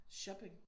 Shopping